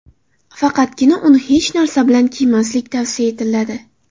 Faqatgina uni hech narsa bilan kiymaslik tavsiya etiladi.